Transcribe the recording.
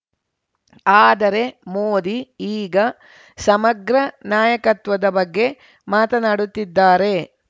ಆದರೆ ಮೋದಿ ಈಗ ಸಮಗ್ರ ನಾಯಕತ್ವದ ಬಗ್ಗೆ ಮಾತನಾಡುತ್ತಿದ್ದಾರೆ